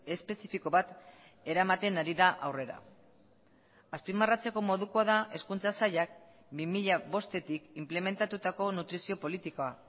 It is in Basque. espezifiko bat eramaten ari da aurrera azpimarratzeko modukoa da hezkuntza sailak bi mila bostetik inplementatutako nutrizio politikoa